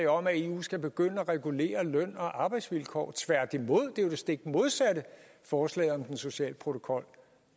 om at eu skal begynde at regulere løn og arbejdsvilkår tværtimod er jo det stik modsatte forslaget om den sociale protokol